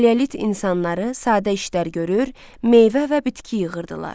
Paleolit insanları sadə işlər görür, meyvə və bitki yığırdılar.